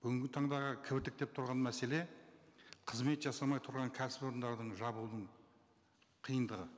бүгінгі таңдағы кібіртіктеп тұрған мәселе қызмет жасамай тұрған кәсіпорындардың жабудың қиындығы